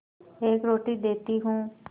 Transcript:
एक रोटी देती हूँ